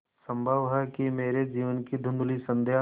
संभव है कि मेरे जीवन की धँुधली संध्या